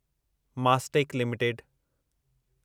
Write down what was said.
Mastek limited